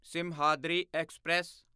Simhadri express